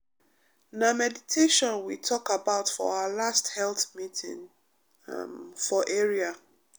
na meditation we talk about for our last health meeting um for area.